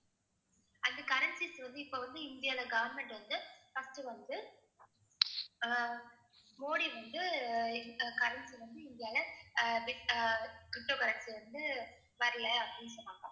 அந்த currencies வந்து இப்ப வந்து இந்தியால government வந்து first வந்து அஹ் மோடி வந்து அஹ் அஹ் currency வந்து இந்தியால அஹ் bit~ அஹ் ptocurrency வந்து வரல அப்படீன்னு சொன்னாங்க,